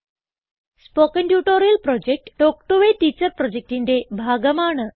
spoken tutorial project talk to a teacher പ്രൊജക്റ്റിന്റെ ഭാഗമാണ്